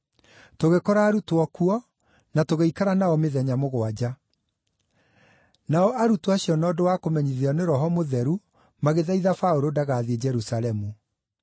Tũgĩkora arutwo kuo, na tũgĩikara nao mĩthenya mũgwanja. Nao arutwo acio na ũndũ wa kũmenyithio nĩ Roho Mũtheru magĩthaitha Paũlũ ndagathiĩ Jerusalemu.